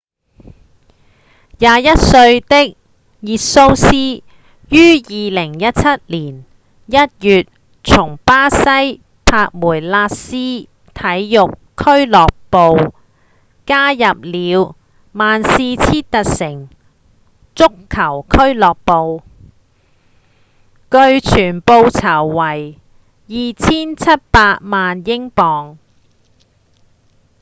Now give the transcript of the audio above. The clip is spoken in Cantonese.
21歲的熱蘇斯於2017年1月從巴西的帕梅拉斯體育俱樂部加入了曼徹斯特城足球俱樂部據傳報酬為2700萬英鎊